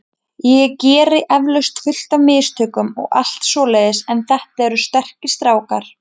Ég geri eflaust fullt af mistökum og allt svoleiðis en þetta eru sterkir strákar.